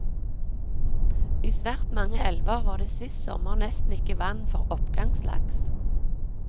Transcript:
I svært mange elver var det sist sommer nesten ikke vann for oppgangslaks.